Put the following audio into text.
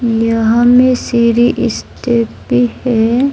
यहां में सीढी स्थित भी है।